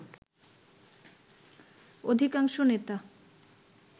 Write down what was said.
অধিকাংশ নেতা